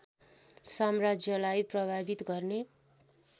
साम्राज्यलाई प्रभावित गर्ने